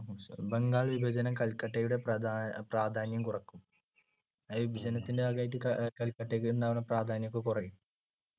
ബംഗാൾ വിഭജനം കൽക്കട്ടയുടെ പ്രാധാ~പ്രാധാന്യം കുറയ്ക്കും. ഈ വിപജനത്തിന്‍ടെ ഭാഗമായി കൽക്കട്ടക്കുണ്ടാവണ പ്രാധാന്യം ഒക്കെ കുറയും.